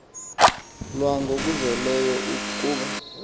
lwa ngokuzeleyo kuba